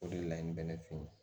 O de la n bɛ ne fe yen